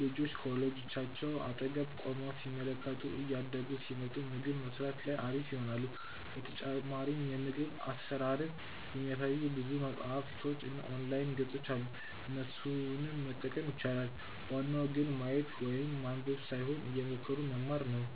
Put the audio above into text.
ልጆች ከወላጆቻቸው አጠገብ ቆመው ሲመለከቱ እያደጉ ሲመጡ ምግብ መስራት ላይ አሪፍ ይሆናሉ። በተጨማሪም የምግብ አሰራርን የሚያሳዩ ብዙ መፅሀፎች እና የኦንላይን ገፆች አሉ እነሱንም መጠቀም ይቻላል። ዋናው ግን ማየት ወይም ማንበብ ሳይሆን እየሞከሩ መማር ነው